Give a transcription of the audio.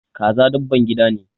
Kaza dabban gida ne.